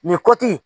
Nin kɔti